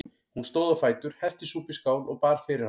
Hún stóð á fætur, hellti súpu í skál og bar fyrir hann.